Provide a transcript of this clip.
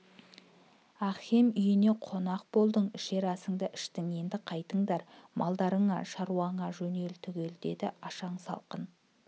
ахкем үйіне қонақ болдың ішер асыңды іштің енді қайтындар малдарыңа шаруаңа жөнел түге деді ашаң салқын